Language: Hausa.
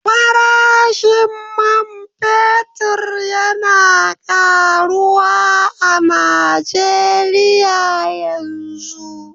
Farashin man fetur yana karuwa a Najeriya yanzu.